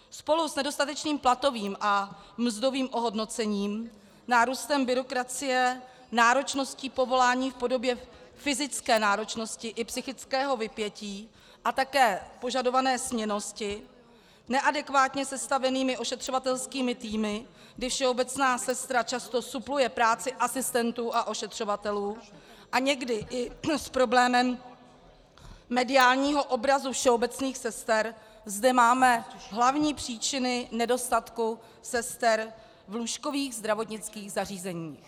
Spolu s nedostatečným platovým a mzdovým ohodnocením, nárůstem byrokracie, náročností povolání v podobě fyzické náročnosti i psychického vypětí a také požadované směnnosti, neadekvátně sestavenými ošetřovatelskými týmy, kdy všeobecná sestra často supluje práci asistentů a ošetřovatelů, a někdy i s problémem mediálního obrazu všeobecných sester zde máme hlavní příčiny nedostatku sester v lůžkových zdravotnických zařízeních.